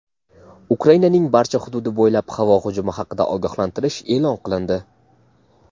Ukrainaning barcha hududi bo‘ylab havo hujumi haqida ogohlantirish e’lon qilindi.